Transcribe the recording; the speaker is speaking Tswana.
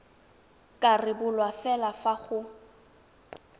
ka rebolwa fela fa go